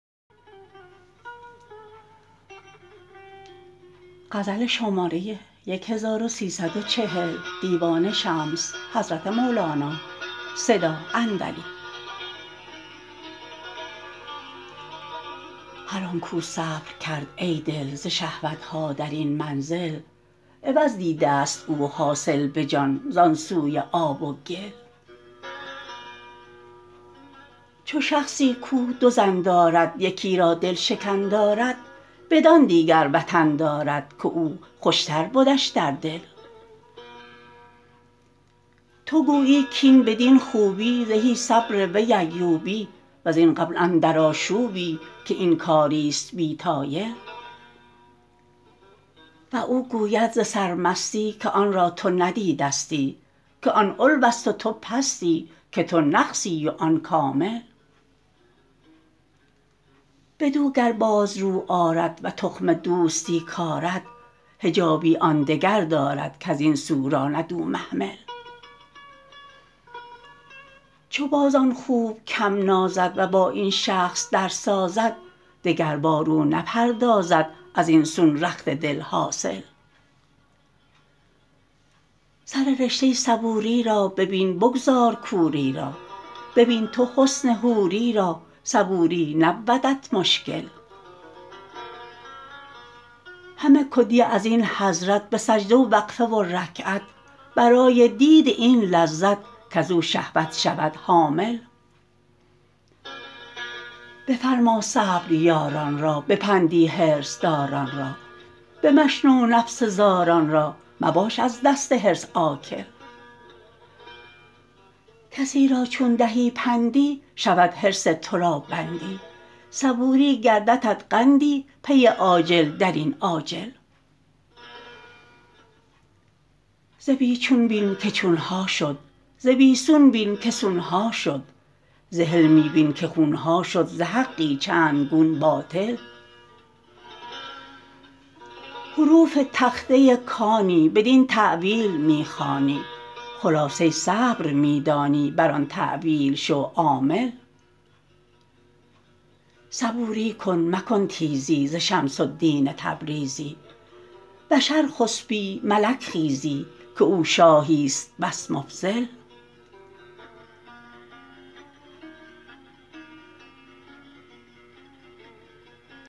هر آن کو صبر کرد ای دل ز شهوت ها در این منزل عوض دیدست او حاصل به جان زان سوی آب و گل چو شخصی کو دو زن دارد یکی را دل شکن دارد بدان دیگر وطن دارد که او خوشتر بدش در دل تو گویی کاین بدین خوبی زهی صبر وی ایوبی وزین غبن اندر آشوبی که این کاریست بی طایل و او گوید ز سرمستی که آن را تو بدیدستی که آن علوست و تو پستی که تو نقصی و آن کامل بدو گر باز رو آرد و تخم دوستی کارد حجابی آن دگر دارد کز این سو راند او محمل چو باز آن خوب کم نازد و با این شخص درسازد دگربار او نپردازد از این سون رخت دل حاصل سر رشته صبوری را ببین بگذار کوری را ببین تو حسن حوری را صبوری نبودت مشکل همه کدیه از این حضرت به سجده و وقفه و رکعت برای دید این لذت کز او شهوت شود حامل بفرما صبر یاران را به پندی حرص داران را بمشنو نفس زاران را مباش از دست حرص آکل کسی را چون دهی پندی شود حرص تو را بندی صبوری گرددت قندی پی آجل در این عاجل ز بی چون بین که چون ها شد ز بی سون بین که سون ها شد ز حلمی بین که خون ها شد ز حقی چند گون باطل حروف تخته کانی بدین تأویل می خوانی خلاصه صبر می دانی بر آن تأویل شو عامل صبوری کن مکن تیزی ز شمس الدین تبریزی بشر خسپی ملک خیزی که او شاهیست بس مفضل